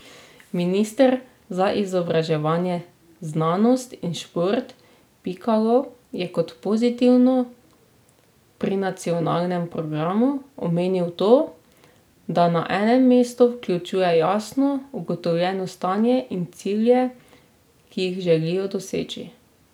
Minister za izobraževanje, znanost in šport Pikalo je kot pozitivno pri nacionalnem programu omenil to, da na enem mestu vključuje jasno ugotovljeno stanje in cilje, ki jih želijo doseči.